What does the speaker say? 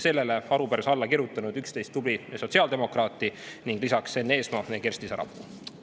Sellele arupärimisele on alla kirjutanud 11 tublit sotsiaaldemokraati ning lisaks Enn Eesmaa ja Kersti Sarapuu.